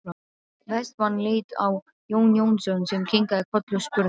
Vestmann leit á Jón Jónsson sem kinkaði kolli og spurði